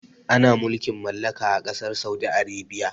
Ana mulkin mallaka ã kasar Saudi Arabia.